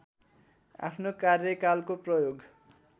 आफ्नो कार्यकालको प्रयोग